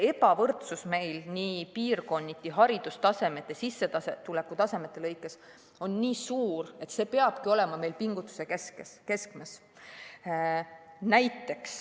Ebavõrdsus piirkonniti, haridustasemete ja sissetulekute lõikes on nii suur, et see peab olema pingutuse keskmes.